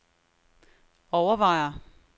overvejer